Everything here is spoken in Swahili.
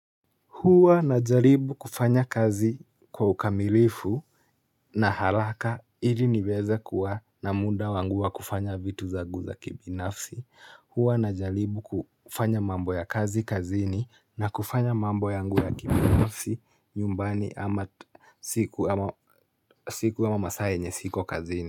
Hua na jaribu kufanya kazi kwa ukamilifu na haraka ili niweza kuwa na muda wangu wa kufanya vitu zagu za kibinafsi. Huwa najalibu kufanya mambo ya kazi kazini na kufanya mambo yangu ya kibinafsi nyumbani ama siku ama masaa yenye siko kazini.